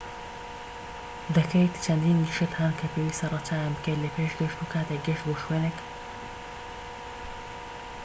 چەندین شت هەن کە پێویستە ڕەچاویان بکەیت لە پێش گەشت و کاتێک گەشت بۆ شوێنێک ‎دەکەیت